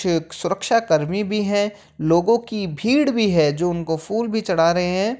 क सुरक्षा कर्मी भी हैं लोगों की भीड़ भी है जो उनको फूल भी चढ़ा रहे हैं।